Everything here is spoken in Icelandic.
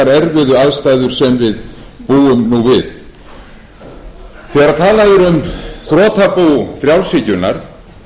erfiðu aðstæður sem við búum nú við þegar talað er um þrotabú frjálshyggjunnar